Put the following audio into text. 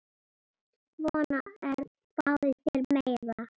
Svona, Örn, fáðu þér meira.